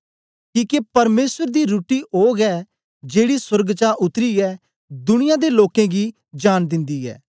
किके परमेसर दी रुट्टी ओ गै जेड़ी सोर्ग चा उत्तरीयै दुनिया दे लोकें गी जांन दिन्दी ऐ